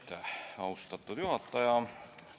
Aitäh, austatud juhataja!